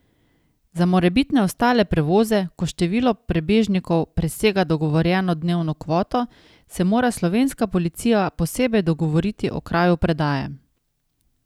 Za morebitne ostale prevoze, ko število prebežnikov presega dogovorjeno dnevno kvoto, se mora slovenska policija posebej dogovoriti o kraju predaje.